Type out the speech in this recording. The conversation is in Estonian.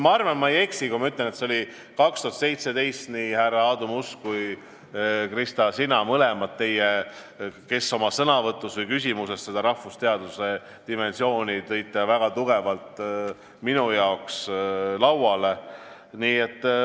Ma arvan, et ma ei eksi, kui ma ütlen, et see oli 2017, kui nii härra Aadu Must kui ka sina, Krista, teie mõlemad oma sõnavõtus või küsimuses seda rahvusteaduse dimensiooni tõite väga tugevalt mulle lauale.